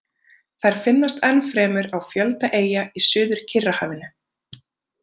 Þær finnast ennfremur á fjölda eyja í Suður-Kyrrahafinu.